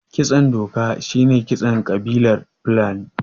Kitson doka shine kitson ƙabilar fulani